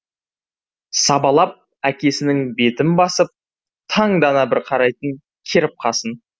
сабалап әкесінің бетін басып таңдана бір қарайтын керіп қасын